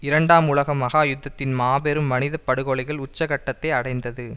இரண்டாம் உலக மகா யுத்தத்தின் மாபெரும் மனித படுகொலைகளில் உச்ச கட்டத்தை அடைந்தது